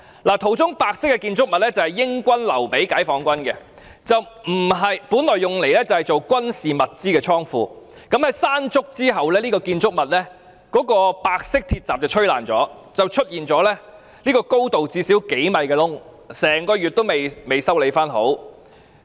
照片中的白色建築物是英軍留給解放軍的，本來用作軍事物資的倉庫，在颱風山竹過後，這個建築物的白色鐵閘被吹毀，出現一個高度最少數米的洞，整個月仍未修好。